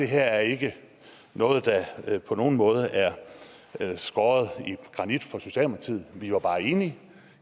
her ikke noget der på nogen måde er skåret i granit for socialdemokratiet vi var bare enige